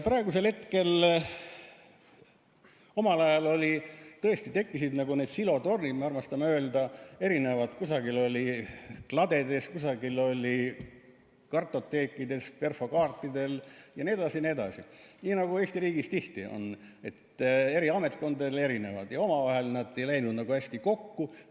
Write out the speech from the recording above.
Omal ajal tõesti tekkisid need silotornid, nagu me armastame öelda, erinevad – kusagil oli kladedes, kusagil oli kartoteekides, perfokaartidel jne, nii nagu Eesti riigis tihti on, et eri ametkondadel erinevad ja omavahel nad ei läinud nagu hästi kokku.